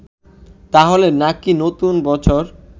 তাহলে নাকি নতুন বছর